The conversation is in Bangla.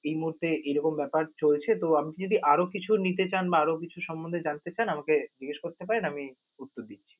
এই মুহূর্তে এরকম ব্যাপার চলছে তো আমাকে যদি আরও কিছু নিতে চান বা আরও কিছু সম্বন্ধে জানতে চান আমাকে জিজ্ঞেস করতে পারেন, আমি উত্তর দিচ্ছি.